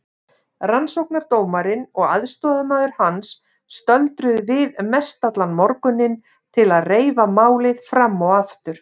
Rannsóknardómarinn og aðstoðarmaður hans stöldruðu við mestallan morguninn til að reifa málið fram og aftur.